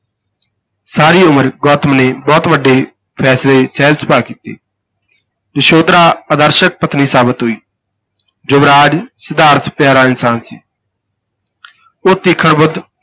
ਸਾਰੀ ਉਮਰ ਗੌਤਮ ਨੇ ਬਹੁਤ ਵੱਡੇ ਫੈਸਲੇ ਸਹਿਜ ਸੁਭਾਅ ਕੀਤੇ ਯਸ਼ੋਧਰਾ ਆਦਰਸ਼ਕ ਪਤਨੀ ਸਾਬਤ ਹੋਈ, ਯੁਵਰਾਜ ਸਿਧਾਰਥ ਪਿਆਰਾ ਇਨਸਾਨ ਸੀ ਉਹ ਤੀਖਣ ਬੁੱਧ,